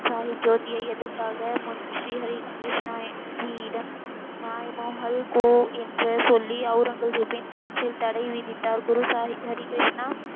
சாஹீப் ஜோதியை எதற்க்காக முன் ஸ்ரீ ஹரி கிருஷ்ணா சியிடம் நாய் மோகல் கோ என்ற சொல்லி, அவுரங்கசிப்பின் நாட்டில் தடை விதித்தார். குரு சாய் ஹரி கிருஷ்ணா,